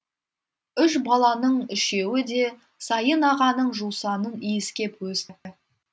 үш балаңның үшеуі де сайын ағаның жусанын иіскеп өсті